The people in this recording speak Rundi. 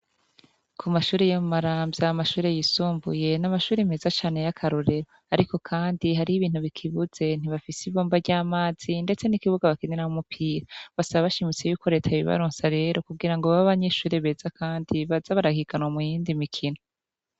Kumashure ya maramvya amashure yisumbuye amashure meza cane yakarorero ariko rero har'ibintu bakibuze ntibafise ibomba ry'amazi n'ikibuga bakiniramwo umupira basaba bashimitse ko reta yobibaronsa kugira babe abanyeshure beza baze barahiganwa muyindi mikino.